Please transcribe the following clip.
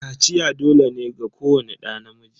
Kaciya dole ne ga kowani ɗa namiji.